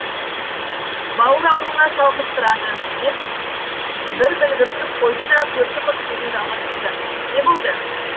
бауыр ауруына шалдықтырады деп бір білгірсіп қойды да көрші қыз сөзін жалғастырды не болды